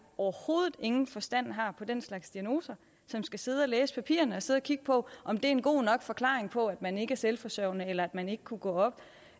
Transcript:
overhovedet ingen forstand har på den slags diagnoser som skal sidde og læse papirerne og sidde og kigge på om det er en god nok forklaring på at man ikke er selvforsørgende eller at man ikke kunne gå op